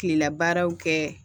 Kilela baaraw kɛ